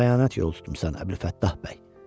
Sən xəyanət yolu tutmusan, Əbülfəttah bəy.